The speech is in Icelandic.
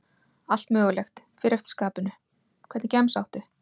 Allt mögulegt, fer eftir skapinu Hvernig gemsa áttu?